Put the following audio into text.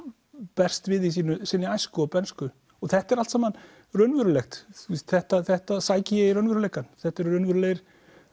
berst við í sinni æsku og bernsku þetta er allt saman raunverulegt þetta þetta sæki ég í raunveruleikann þetta eru raunverulegar